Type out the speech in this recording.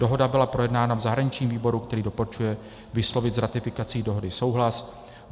Dohoda byla projednána v zahraničním výboru, který doporučuje vyslovit s ratifikací dohody souhlas.